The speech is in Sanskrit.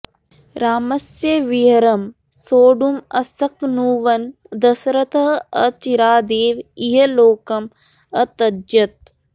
रामस्य विरहं सोढुम् अशक्नुवन् दशरथः अचिरादेव इहलोकम् अत्यजत्